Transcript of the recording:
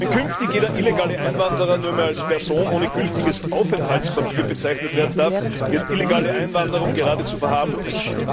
Wenn künftig jeder illegale Einwanderer nur mehr als Person ohne gültiges Arbeitspapier bezeichnet werden darf, wird illegale Einwanderung geradezu verharmlost.